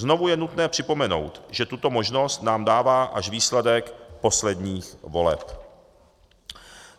Znovu je nutné připomenout, že tuto možnost nám dává až výsledek posledních voleb.